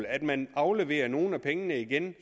at man afleverer nogle af pengene igen